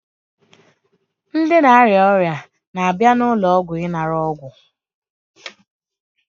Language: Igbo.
Ndị na-arịa ọrịa na-abịa n'ụlọọgwụ ịnara ọgwụ